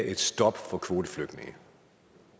et stop for kvoteflygtninge